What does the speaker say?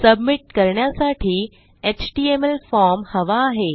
submit करण्यासाठी HTML form हवा आहे